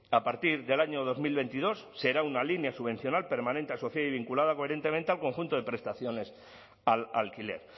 a partir del año dos mil veintidós será una línea subvencional permanente asociada y vinculada coherentemente al conjunto de prestaciones al alquiler